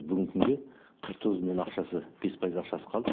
бүгінгі күнге қырық тоғыз миллион ақшасы бес пайыз ақшасы қалды